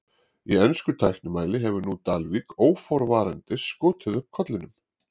Í ensku tæknimáli hefur nú Dalvík óforvarandis skotið upp kollinum.